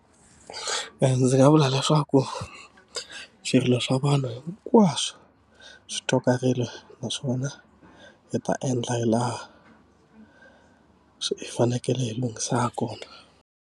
ndzi nga vula leswaku swirilo swa vanhu hinkwaswo swi tswakarile, naswona hi ta endla hi laha hi fanekele hi lunghisa ha kona.